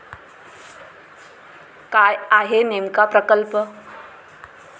काय आहे नेमका प्रकल्प?